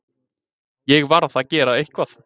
Ég varð að gera eitthvað.